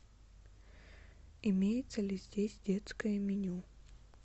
имеется ли здесь детское меню